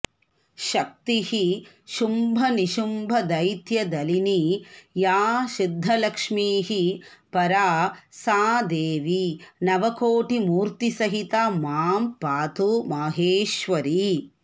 शक्तिः शुम्भनिशुम्भदैत्यदलिनी या सिद्धलक्ष्मीः परा सा देवी नवकोटिमूर्तिसहिता मां पातु माहेश्वरी